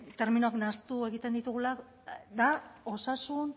terminoak nahastu egiten ditugula da osasun